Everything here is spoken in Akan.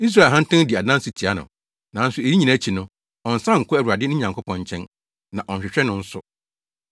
Israel ahantan di adanse tia no, nanso eyi nyinaa akyi no ɔnnsan nkɔ Awurade ne Nyankopɔn nkyɛn, na ɔnhwehwɛ no nso.